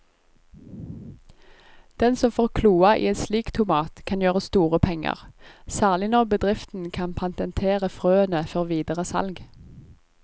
Den som får kloa i en slik tomat kan gjøre store penger, særlig når bedriften kan patentere frøene før videre salg.